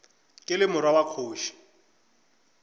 ke le morwa wa kgoši